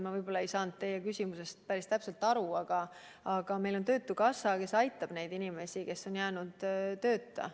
Ma võib-olla ei saanud teie küsimusest päris täpselt aru, aga meil on töötukassa, kes aitab neid inimesi, kes on jäänud tööta.